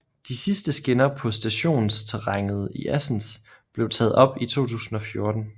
De sidste skinner på stationsterrænet i Assens blev taget op i 2014